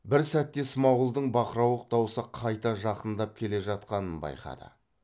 бір сәтте смағұлдың бақырауық даусы қайта жақындап келе жатқанын байқады